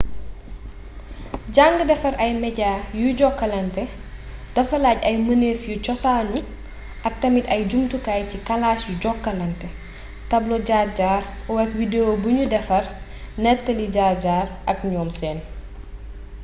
jàng defar ay media yuy jokkalante dafa laaj ay mënef yu cosaanu ak tamit ay jumtukaay ci kalaas yuy jokkalante tablo jaar jaar o oak wdeo bu nu defar nettali jaar jaar ak ñoom seen.